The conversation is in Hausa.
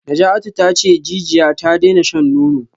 Najatu tace jijiya ta daina shan nono